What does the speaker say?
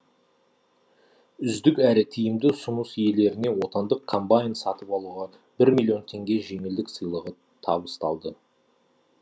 үздік әрі тиімді ұсыныс иелеріне отандық комбайн сатып алуға бір миллион теңге жеңілдік сыйлығы табысталды